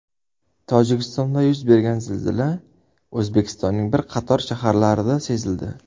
Tojikistonda yuz bergan zilzila O‘zbekistonning bir qator shaharlarida sezildi.